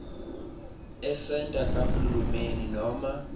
esenta kahulumeni noma